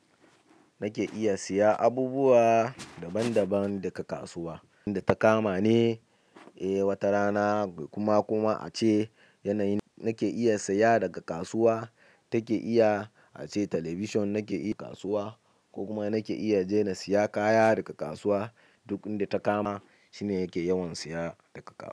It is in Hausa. Nake iya siya abubuwa daban daban daga kasuwa. Inda ta kama ne, eh wata rana kuma kuma ace yanayin nake iya siya daga kasuwa. Take iya ace talabishin nake iya kasuwa ko kuma nake iya je na siya kaya daga kasuwa. Duk inda ta kama shine yake yawan siya daga kasuwa.